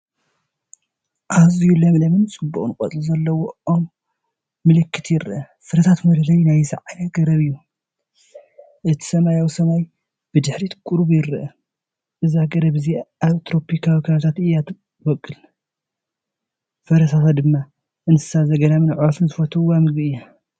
ኣዝዩ ለምለምን ጽዑቕን ቆጽሊ ዘለዎ ኦም መለኸት ይርአ። ፍረታት መለለዪ ናይዚ ዓይነት ገረብ እዩ። እቲ ሰማያዊ ሰማይ ብድሕሪት ቁሩብ ይርአ፣ እዛ ገረብ እዚኣ ኣብ ትሮፒካዊ ከባቢታት እያ እትበቍል፣ ፍረታታ ድማ ንእንስሳ ዘገዳምን ኣዕዋፍን ዝፈትውዎ መግቢ እዩ።